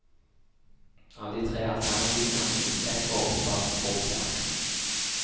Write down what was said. Av de tre alternativene er minst ett åpenbart provoserende.